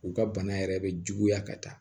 U ka bana yɛrɛ bɛ juguya ka taa